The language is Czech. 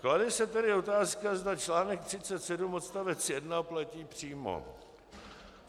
Klade se tedy otázka, zda článek 37 odstavec 1 platí přímo.